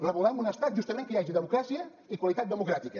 volem un estat justament que hi hagi democràcia i qualitat democràtica